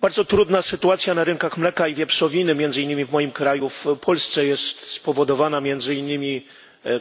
Bardzo trudna sytuacja na rynkach mleka i wieprzowiny, między innymi w moim kraju, w Polsce, jest spowodowana między innymi